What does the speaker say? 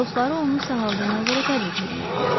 Dostları onu sağaldığına görə təbrik eləyirdilər.